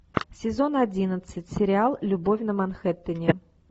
сезон одиннадцать сериал любовь на манхэттене